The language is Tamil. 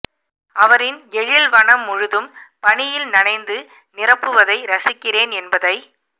அவரின் எழில் வனம் முழுதும் பனியில் நனைந்து நிரப்புவதை ரசிக்கிறேன் என்பதை